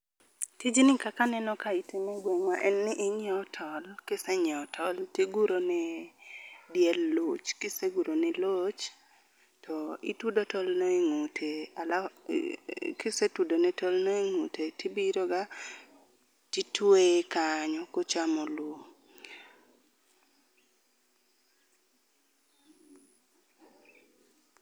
Tijni kaka aneno kae itime egweng'wa en ni inyiewo tol, kise nyiewo tol to iguro ne diel loch. Kise guro negi loch, to itudo tol no e ng'ute . Alaf Kisetudo ne tolno e ng'ute, tibiroga titweye kanyo kochamo lum.